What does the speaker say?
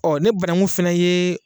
Ɔ ne bananku fɛnɛ ye.